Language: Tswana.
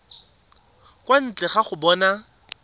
kwa ntle ga go bona